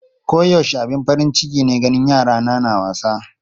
Koyaushe abin farin ciki ne ganin yarana na wasa.